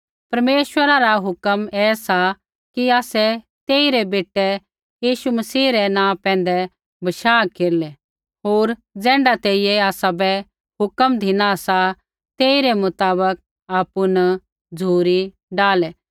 परमेश्वरा रा हुक्म ऐ सा कि आसै तेई रै बेटै यीशु मसीह रै नाँह पैंधै बशाह केरलै होर ज़ैण्ढी तेइयै आसाबै हुक्म धिना सा तेई रै मुताबक आपु न झ़ुरी डाहलै